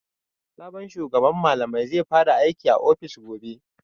Sabon shugaban malamai zai fara aiki a ofis gobe.